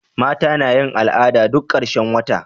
mata nayin al'ada duk karshen wata